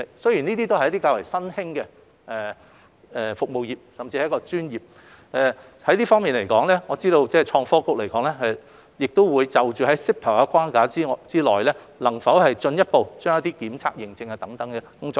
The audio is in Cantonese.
這些都是較為新興的服務業，甚至是一項專業，我知道創新及科技局會在 CEPA 的框架下，探討能否進一步推廣檢測驗證等工作。